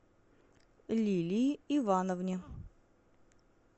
лилии ивановне